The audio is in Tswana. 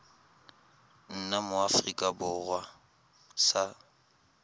nna mo aforika borwa sa